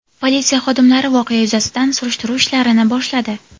Politsiya xodimlari voqea yuzasidan surishtiruv ishlarini boshladi.